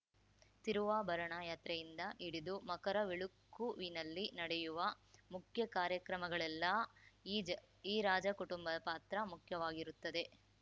ತಿರುವಾಭರಣ ಯಾತ್ರೆಯಿಂದ ಹಿಡಿದು ಮಕರವಿಳುಕ್ಕುವಿನಲ್ಲಿ ನಡೆಯುವ ಮುಖ್ಯ ಕಾರ್ಯಕ್ರಮಗಳೆಲ್ಲಾ ಈ ಜ ರಾಜ ಕುಟುಂಬದ ಪಾತ್ರ ಮುಖ್ಯವಾಗಿರುತ್ತದೆ